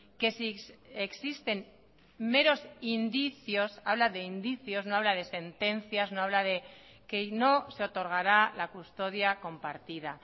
que si existen meros indicios habla de indicios no habla de sentencias no habla de que no se otorgará la custodia compartida